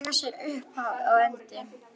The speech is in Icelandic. Þau eiga sér upphaf og endi.